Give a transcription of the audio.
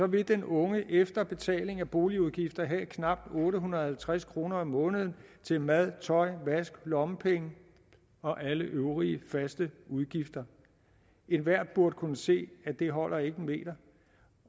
vil den unge efter betaling af boligudgifter have knap otte hundrede og halvtreds kroner om måneden til mad tøj vask lommepenge og alle øvrige faste udgifter enhver burde kunne se at det ikke holder en meter